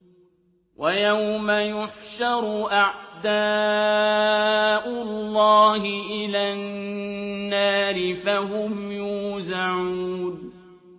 وَيَوْمَ يُحْشَرُ أَعْدَاءُ اللَّهِ إِلَى النَّارِ فَهُمْ يُوزَعُونَ